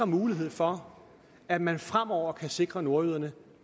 mulighed for at man fremover kan sikre nordjyderne